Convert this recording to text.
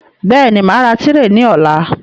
Bẹ́ẹ̀ni, màá ra tírè ní ọ̀la